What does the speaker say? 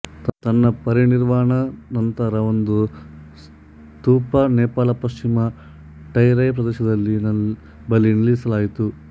ತನ್ನ ಪರಿನಿರ್ವಾಣ ನಂತರಒಂದು ಸ್ತೂಪ ನೇಪಾಳ ಪಶ್ಚಿಮ ಟೆರೈ ಪ್ರದೇಶದಲ್ಲಿ ನಲ್ಲಿ ಬಳಿ ನಿಲ್ಲಿಸಲಾಯಿತು